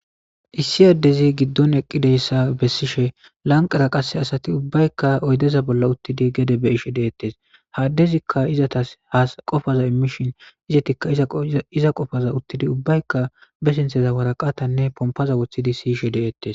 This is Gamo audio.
Issi adezi gidon eqidayssa besishe lanqqera qas asati uubahykka oyddeza bolla utidi gede be'ishe de'etes adezikka izetas qopaza imishe izetikka iza qopaza utidi ubbaykka ba sinthezan woraqatanne pompara wothidi si'ishshe de'etes.